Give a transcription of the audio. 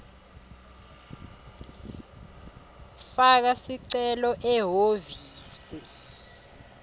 faka sicelo ehhovisi